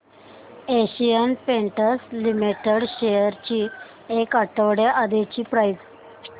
Asian Paints Limited shares ची एक आठवड्या आधीची प्राइस